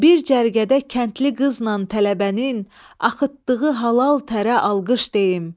Bir cərgədə kəndli qızla tələbənin axıtdığı halal tərə alqış deyin.